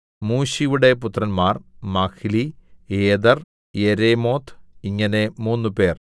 മൂശിയുടെ പുത്രന്മാർ Mahli Eder Jerimoth ഇങ്ങനെ മൂന്നുപേർ